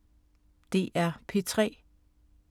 DR P3